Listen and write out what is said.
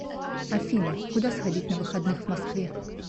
афина куда сходить на выходных в москве